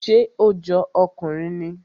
Ṣé ó jọ ọkùnrin ni?